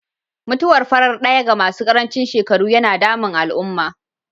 Mutuwar farar ɗaya ga masu karancin shekaru yana damun al'umma.